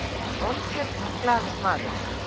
olgeir var glaður maður